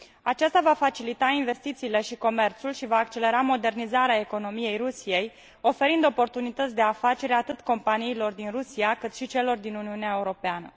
Aceasta va facilita investițiile și comerțul și va accelera modernizarea economiei Rusiei, oferind oportunități de afaceri atât companiilor din Rusia, cât și celor din Uniunea Europeană.